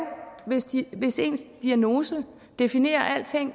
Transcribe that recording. hvis ens diagnose definerer alting